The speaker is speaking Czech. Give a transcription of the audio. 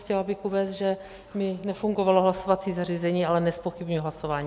Chtěla bych uvést, že mi nefungovalo hlasovací zařízení, ale nezpochybňuji hlasování.